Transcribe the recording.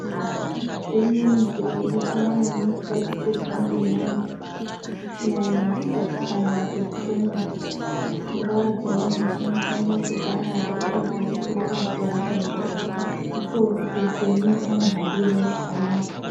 Pane zvimweni zviro zvisikanyanyi kubatikirwa ngevantu, kunyanya kugadzikana kwepfungwa. Pfungwa dzemuntu dzinofane kugara dzakagarisika panzvimbo, ndiko kuti hupenyu humuhambire zvakanaka.